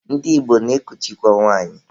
Ndị Igbo na-ekuchikwa nwanyị.